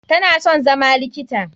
Tana son zama likita.